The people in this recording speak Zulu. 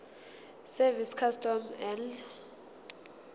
service customs and